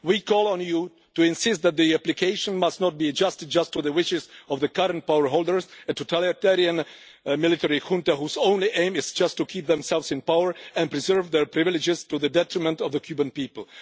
We call on you to insist that the application must not be adjusted just to the wishes of the current power holders, a totalitarian military junta whose only is just to keep themselves in power and preserve their privileges to the detriment of the Cuban people.